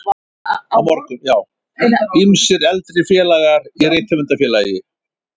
Ýmsir eldri félagar í Rithöfundafélagi